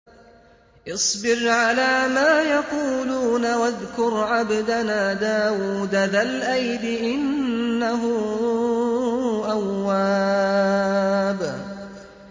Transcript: اصْبِرْ عَلَىٰ مَا يَقُولُونَ وَاذْكُرْ عَبْدَنَا دَاوُودَ ذَا الْأَيْدِ ۖ إِنَّهُ أَوَّابٌ